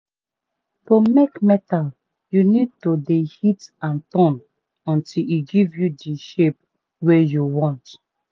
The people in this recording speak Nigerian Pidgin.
to make metal you need to de hit and turn until e give you dey shape wey you want